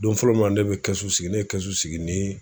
Don fɔlɔ mun a ne be kɛsu ne ye kɛsu sigi ni